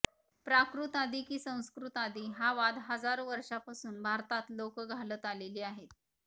प्राकृत आधी की संस्कृत आधी हा वाद हजारो वर्षांपासून भारतात लोकं घालत आलेली आहेत